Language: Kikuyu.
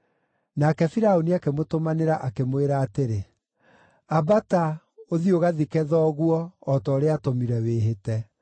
Nake Firaũni akĩmũtũmanĩra, akĩmwĩra atĩrĩ, “Ambata, ũthiĩ ũgathike thoguo, o ta ũrĩa aatũmire wĩhĩte.”